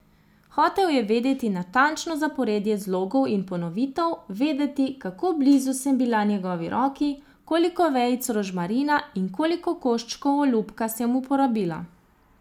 Hotel je vedeti natančno zaporedje zlogov in ponovitev, vedeti, kako blizu sem bila njegovi roki, koliko vejic rožmarina in koliko koščkov olupka sem uporabila.